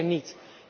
Neen, zeker niet.